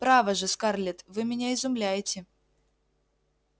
право же скарлетт вы меня изумляете